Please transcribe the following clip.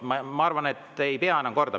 Ma arvan, et ma ei pea enam kordama.